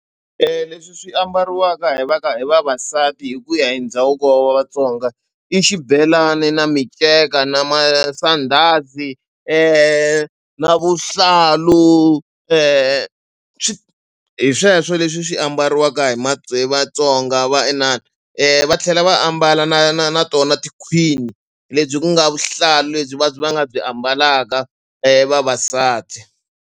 Leswi swi ambariwaka hi va hi vavasati hi ku ya hi ndhavuko wa Vatsonga i xibelani na minceka na masandhazi na vuhlalu swi hi sweswo leswi swi ambariwaka hi hi Vatsonga va inana va tlhela va ambala na na na tona tikhwini lebyi ku nga vuhlalu lebyi va byi va nga byi ambalaka vavasati.